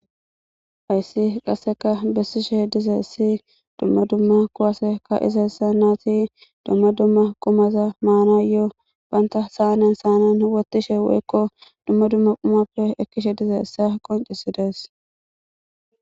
ayssi qasseka bessishe diza issi dumma dumma quwase ka izayssa naati dumma dumma qumaza maana yoo baynta saanen saanan wottishe woykko dumma dumma qumappe ekkishe dize issa qoncisi dees